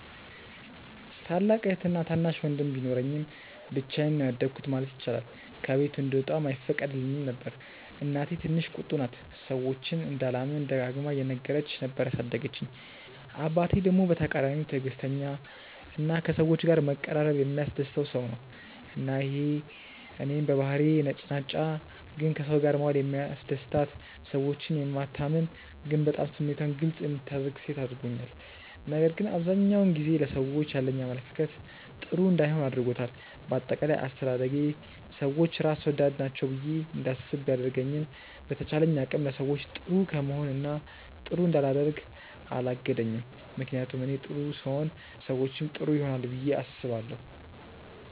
ታላቅ እህትና ታናሽ ወንድም ቢኖረኝም ብቻዬን ነው ያደኩት ማለት ይቻላል። ከቤት እንድወጣም አይፈቀድልኝም ነበር። እናቴ ትንሽ ቁጡ ናት፤ ሰዎችን እንዳላምን ደጋግማ እየነገረች ነበር ያሳደገችኝ። አባቴ ደግሞ በተቃራኒው ትዕግስተኛ እና ከሰዎች ጋር መቀራረብ የሚያስደስተው ሰው ነው። እና ይሄ እኔን በባህሪዬ ነጭናጫ ግን ከሰው ጋር መዋል የሚያስደስታት፣ ሰዎችን የማታምን ግን በጣም ስሜቷን ግልፅ የምታደርግ ሴት አድርጎኛል። ነገር ግን አብዛኛውን ጊዜ ለሰዎች ያለኝ አመለካከት ጥሩ እንዳይሆን አድርጎታል። በአጠቃላይ አስተዳደጌ ሰዎች ራስ ወዳድ ናቸው ብዬ እንዳስብ ቢያደርገኝም በተቻለኝ አቅም ለሰዎች ጥሩ ከመሆን እና ጥሩ እንዳላደርግ አላገደኝም። ምክንያቱም እኔ ጥሩ ስሆን ሰዎችም ጥሩ ይሆናሉ ብዬ አስባለሁ።